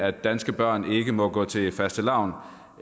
at danske børn ikke må gå til fastelavn